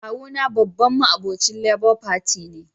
Kawu na babban ma'obocin Labour Party ne.